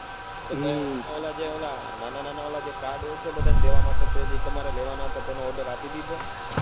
હમ પહેલા ઓલા નાના નાના જે card હોય છે બધા ને દેવા માટે તે જે order આપી દીધો.